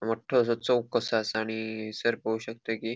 मोठ्ठो असो चौक कसो आसा आणि हैसर पोव शकता की --